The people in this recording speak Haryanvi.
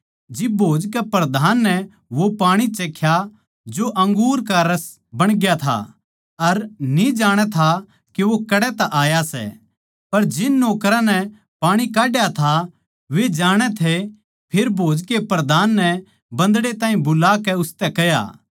जिब भोज कै प्रधान नै वो पाणी चाख्या जो अंगूर का रस बणग्या था अर न्ही जाणै था के वो कड़ै तै आया सै पर जिन नौकरां नै पाणी काड्या था वे जाणै थे फेर भोज कै प्रधान नै बन्दड़े ताहीं बुलाकै उसतै कह्या